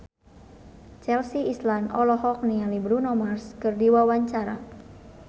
Chelsea Islan olohok ningali Bruno Mars keur diwawancara